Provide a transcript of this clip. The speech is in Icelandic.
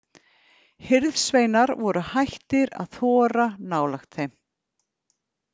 Hirðsveinar voru hættir að þora nálægt þeim.